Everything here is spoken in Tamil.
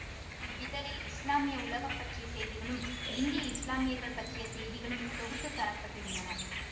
இவ்விதழில் இஸ்லாமிய உலக பற்றிய செய்திகளும் இந்திய இஸ்லாமியர்கள் பற்றிய செய்திகளும் தொகுத்துத் தரப்பட்டிருந்தன